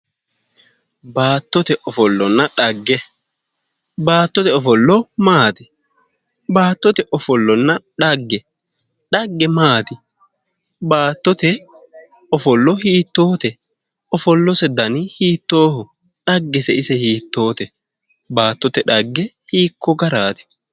Baattote ofollanna dhagge. Baattote ofolla maati? Baattote ofollonna dhagge. Dhagge maati? Baattote ofollo hiittoote? Ofollose dani hiittooho? Dhaggese ise hiittoote? Baattote dhagge hiikko garaati?